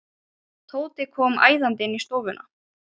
Tóti kom æðandi inn í stofuna.